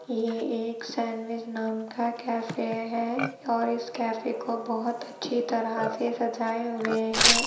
ये एक सैंडविच नाम का कैफे हैं और इस कैफे को बहोत अच्छी तरह से सजाए हुए हैं।